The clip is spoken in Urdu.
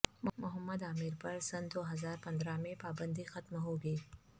محمد عامر پر سنہ دو ہزار پندرہ میں پابندی ختم ہو گی